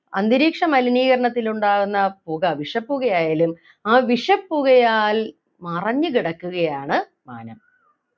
അന്തരീക്ഷ മലിനീകരണത്തിലുണ്ടാകുന്ന പുക വിഷപ്പുക ആയാലും ആ വിഷപ്പുകയാൽ മറഞ്ഞു കിടക്കുകയാണ് മാനം